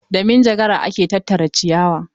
Da manjagara ake tattara ciyawa.